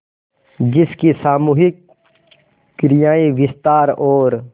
जिसकी सामूहिक क्रियाएँ विस्तार और